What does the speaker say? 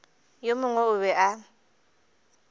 yo mongwe o be a